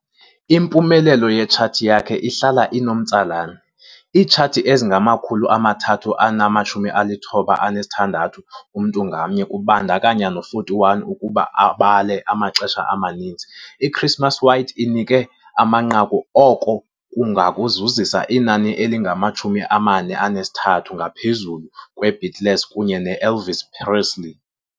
Impumelelo yetshathi yakhe ihlala inomtsalane- Iitshathi ezingama-396 umntu ngamnye, kubandakanya no-41. Ukuba ubala amaxesha amaninzi "i-Christmas White" inike amanqaku, oko kungakuzisa inani elingama-43, ngaphezulu kwe-Beatles kunye no-Elvis Presley.